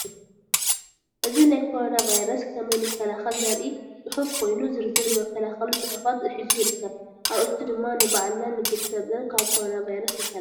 እዚ ናይ ኮረና ቫይረስ ከመይንከላከል ዘርኢ ፅሑፍ ኰየኑ ዝርዝር መከላከሊ ፅሑፋት ሒዙ ይርከብ፡፡ አርእስቱ ድማ ንባዕልናን ንቤተሰብናን ካብ ኮረና ቫይረስ ንከላከል፡፡